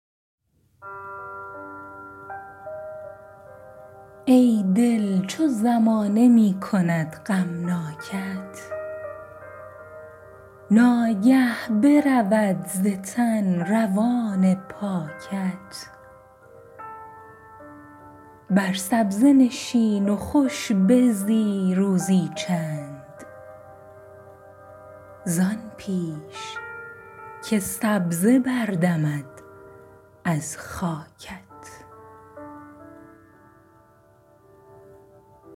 ای دل چو زمانه می کند غمناکت ناگه برود ز تن روان پاکت بر سبزه نشین و خوش بزی روزی چند زآن پیش که سبزه بردمد از خاکت